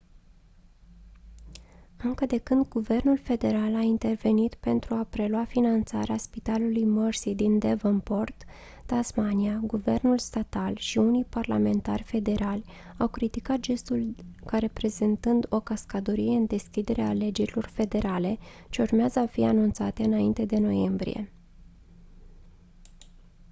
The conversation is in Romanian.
încă de când guvernul federal a intervenit pentru a prelua finanțarea spitalului mersey din devonport tasmania guvernul statal și unii parlamentari federali au criticat gestul ca reprezentând o cascadorie în deschiderea alegerilor federale ce urmează a fi anunțate înainte de noiembrie